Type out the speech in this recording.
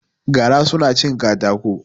Gara su na cin katako